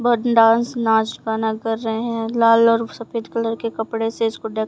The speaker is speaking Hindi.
बहोत डांस नाच गाना कर रहे हैं लाल और सफेद कलर के कपड़े से इसको ढ--